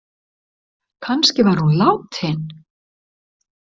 Kannski var hún látin.